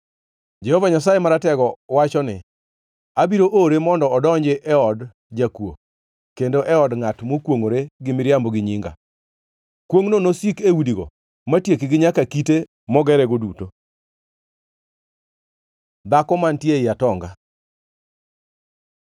Jehova Nyasaye Maratego wacho ni, ‘Abiro ore mondo odonji e od jakuo kendo e od ngʼat makwongʼore gi miriambo gi nyinga. Kwongʼno nosik e udigo matiekgi nyaka kite mogerego duto.’ ” Dhako mantie ei atonga